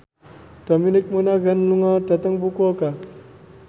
Dominic Monaghan lunga dhateng Fukuoka